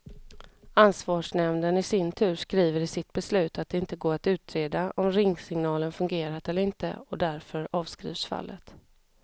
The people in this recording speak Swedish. Ansvarsnämnden i sin tur skriver i sitt beslut att det inte går att utreda om ringsignalen fungerat eller inte, och därför avskrivs fallet.